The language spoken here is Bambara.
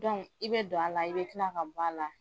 i bɛ don a la i bɛ kila ka bɔ a la